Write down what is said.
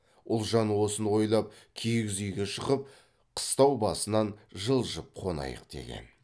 ұлжан осыны ойлап киіз үйге шығып қыстау басынан жылжып қонайық деген